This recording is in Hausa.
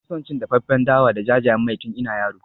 Na fi son cin dafaffen dawa da jajayen mai tun ina yaro.